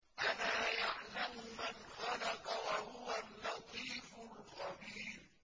أَلَا يَعْلَمُ مَنْ خَلَقَ وَهُوَ اللَّطِيفُ الْخَبِيرُ